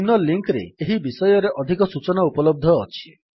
ନିମ୍ନ ଲିଙ୍କ୍ ରେ ଏହି ବିଷୟ ଉପରେ ଅଧିକ ସୂଚନା ଉପଲବ୍ଧ ଅଛି